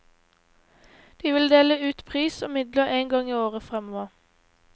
De vil dele ut pris og midler en gang i året fremover.